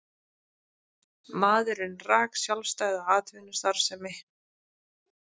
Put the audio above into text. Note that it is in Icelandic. Maðurinn rak sjálfstæða atvinnustarfsemi